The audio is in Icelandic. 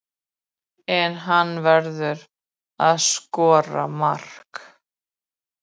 En hann verður að skora mark.